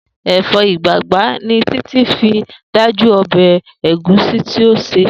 Èfó̩ ìgbàgbá ni Títí fi dájú o̩bè̩ ègúsí tí ó sè